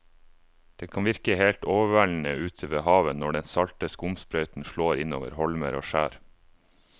Det kan virke helt overveldende ute ved havet når den salte skumsprøyten slår innover holmer og skjær.